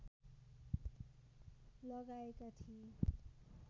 लगाएका थिए